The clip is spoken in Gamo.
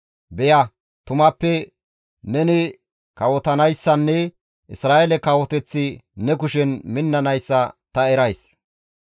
Beya tumappe neni kawotanayssanne Isra7eele kawoteththi ne kushen minnanayssa ta erays.